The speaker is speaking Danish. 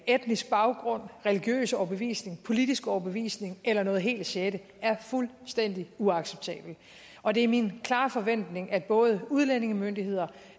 etnisk baggrund religiøs overbevisning politisk overbevisning eller noget helt sjette er fuldstændig uacceptabelt og det er min klare forventning at både udlændingemyndigheder